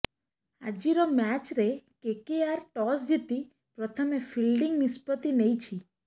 ଆଜିର ମ୍ୟାଚ୍ରେ KKR toss ଜିତି ପ୍ରଥମେ ଫିଲ୍ଡିଂ ନିଷ୍ପତ୍ତି ନେଇଛି